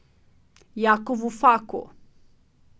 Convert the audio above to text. Jakovu Faku.